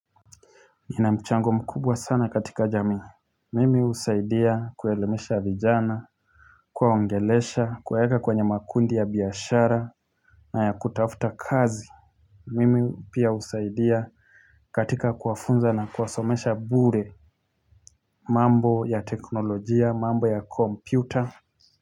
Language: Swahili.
Nina mchango mkubwa sana katika jamii Mimi usaidia kuelemesha vijana Kuwaongelesha kuwaeka kwenye makundi ya biashara na ya kutafuta kazi Mimi pia husaidia katika kuwafunza na kuwasomesha bure mambo ya teknolojia mambo ya kompyuta.